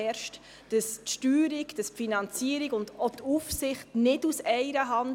Die Steuerung, die Finanzierung und auch die Aufsicht erfolgen nicht aus einer Hand.